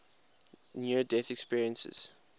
near death experiences